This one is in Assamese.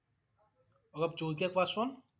অলপ জোৰকৈ কোৱা চোন